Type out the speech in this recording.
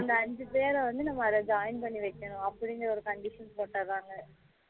அந்த ஐந்து பேர் வந்து நம்ம அத join பண்ணி வைக்கணும் அப்படினு ஒரு condition போட்டுராங்க